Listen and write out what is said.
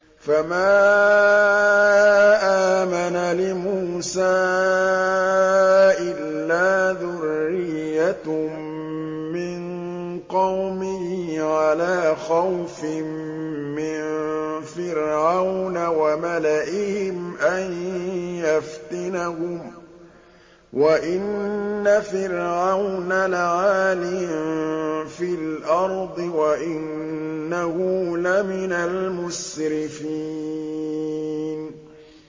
فَمَا آمَنَ لِمُوسَىٰ إِلَّا ذُرِّيَّةٌ مِّن قَوْمِهِ عَلَىٰ خَوْفٍ مِّن فِرْعَوْنَ وَمَلَئِهِمْ أَن يَفْتِنَهُمْ ۚ وَإِنَّ فِرْعَوْنَ لَعَالٍ فِي الْأَرْضِ وَإِنَّهُ لَمِنَ الْمُسْرِفِينَ